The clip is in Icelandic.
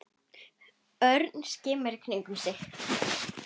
Örn skimaði í kringum sig.